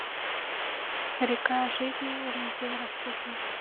река жизни валентин распутин